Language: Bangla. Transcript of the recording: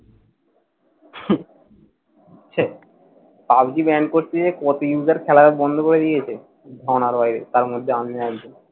পাবজি ban করতে কত user খেলা যে বন্ধ করে দিয়েছে। গনার বাইরে, তারমধ্যে আমিও একজন।